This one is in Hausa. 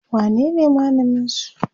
wanene malamin su?